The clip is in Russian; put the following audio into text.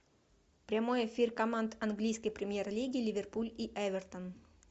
прямой эфир команд английской премьер лиги ливерпуль и эвертон